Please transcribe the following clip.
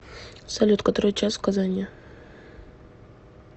салют который час в казани